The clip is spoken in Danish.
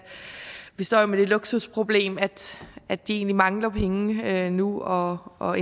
vi jo står med det luksusproblem at at de egentlig mangler penge at investere nu og og